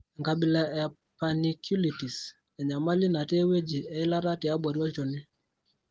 Enkabila e panniculitis (enyamali natii ewueji eilata tiabori olchoni).